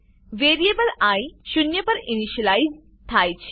variable I શૂન્ય પર initialize થાય છે